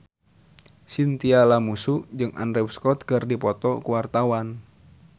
Chintya Lamusu jeung Andrew Scott keur dipoto ku wartawan